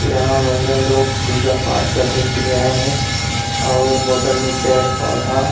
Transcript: यहाँ महिला लोग पूजा-पाठ करने के लिए आए है अउ और बगल में पड़े-पौधा--